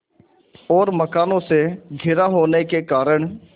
और मकानों से घिरा होने के कारण